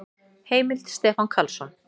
Heimild: Stefán Karlsson.